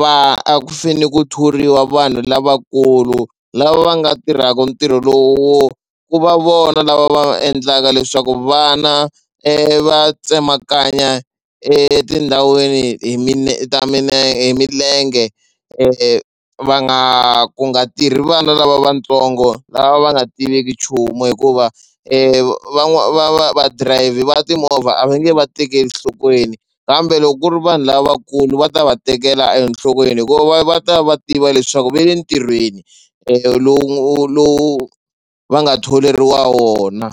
va a ku fanele ku thoriwa vanhu lavakulu lava va nga tirhaka ntirho lowo ku va vona lava va endlaka leswaku vana va tsemakanya etindhawini hi ta hi milenge va nga ku nga tirhi vana lavatsongo lava va nga tiveki nchumu hikuva va va va dirayivhi timovha a va nge va tekeli enhlokweni kambe loko ku ri vanhu lavakulu va ta va tekela enhlokweni hikuva va ta va tiva leswaku ve le ntirhweni lowu lowu va nga tholeriwa wona.